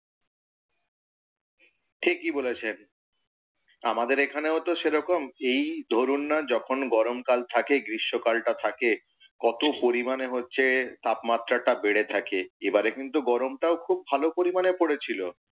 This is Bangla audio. ঠিকই বলেছেন। আমাদের এখানেও তো সেরকম। এই ধরুন না যখন গরমকাল টা থাকে গ্রীষ্মকাল টা থাকে কত পরিমাণে হচ্ছে তাপমান টা বেড়ে থাকে। এবারে কিন্তু গরমটাও খুব ভালো পরিমাণে পরেছিল,